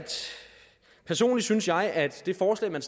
personligt synes jeg at det forslag man